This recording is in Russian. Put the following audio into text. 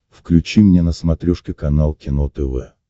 включи мне на смотрешке канал кино тв